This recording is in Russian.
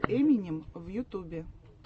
эминем в ютубе